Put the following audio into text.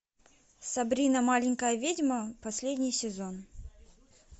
сабрина маленькая ведьма последний сезон